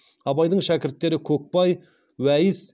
абайдың шәкірттері көкбай уәйіс